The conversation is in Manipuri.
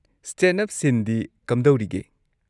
ꯁ꯭ꯇꯦꯟꯗ-ꯑꯞ ꯁꯤꯟꯗꯤ ꯀꯝꯗꯧꯔꯤꯒꯦ?